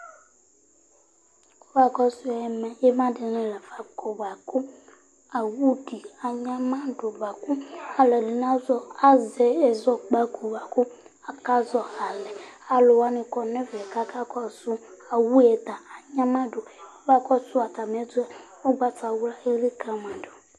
mɛ woa kɔsu ɛmɛ ima di ni lafa kɔ boa kò owu di anyamado boa kò alo ɛdini azɔ azɛ ɛzɔkpako boa kò aka zɔ alɛ alo wani kɔ n'ɛfɛ k'aka kɔsu owu yɛ ta anyamado mɛ woa kɔsu atami ɛto ugbata wla elikali ma do